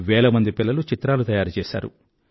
వేల మంది పిల్లలు చిత్రాలు తయారుచేశారు